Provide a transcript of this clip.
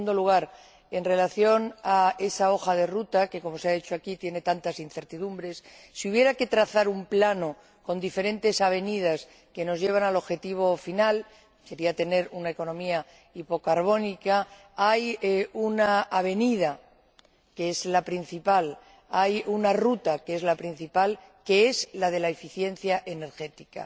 En segundo lugar, en relación con esa hoja de ruta que, como se ha dicho aquí, tiene tantas incertidumbres, si hubiera que trazar un plano con diferentes avenidas que nos lleven al objetivo final que sería tener una economía hipocarbónica hay una avenida, hay una ruta, que es la principal, que es la de la eficiencia energética.